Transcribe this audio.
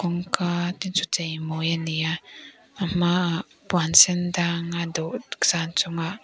kawngka te chu chei mawi ani a a hmaah puan sen dang a dawhsan chungah --